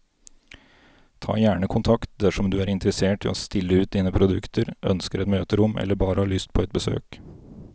Ta gjerne kontakt dersom du er interessert i å stille ut dine produkter, ønsker et møterom eller bare har lyst på et besøk.